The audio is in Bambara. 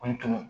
O tun